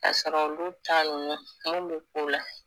K'a sɔrɔ olu taa nunnu mun be k'ula